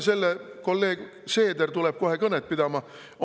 Kolleeg Seeder tuleb kohe kõnet pidama.